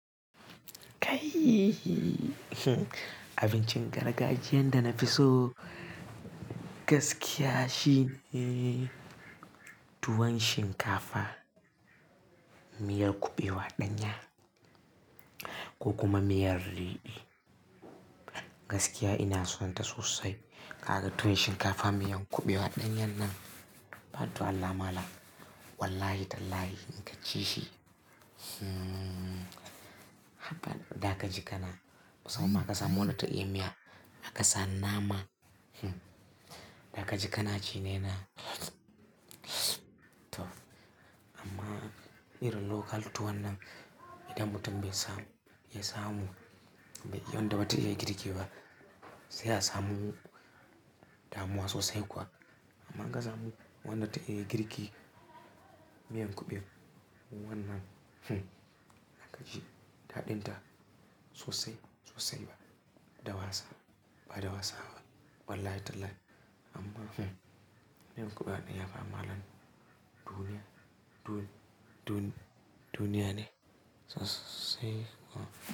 Kai! Abincin gargajiyan da na fi so gaskiya shine tuwon shinkafa, miyar kuɓewa ɗanya ko kuma miyar leɓe. Gaskiya ina son ta sosai. Kaga tuwon shinkafa miyan kuɓewa ɗanyan nan, fatu Allah malam wallahi tallahi in ka ci shi, hmm daka ji kana. Musamman ma ka samu wanda ta iya miya aka sa nama, daka ji kana ci ne na. Amma irin local tuwon nan, idan mutum bai samu, ya samu, bai wanda bata iya girki ba, sai a samu damuwa sosai kuwa. Amma in ka samu wanda ta iya girki miyan kuɓewan wannan, zaka ji daɗin ta sosai sosai ba, da wasa, ba da wasa ba wallahi tallahi. Amma miyan kuɓewa ɗanya ba malam duniya, dun-dun-duniya ne sosai kuwa.